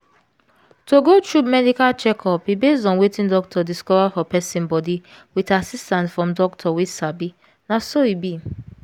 to go through medical checkup e base on wetin doctor discover for person body with assistance from doctor wey sabi na so e be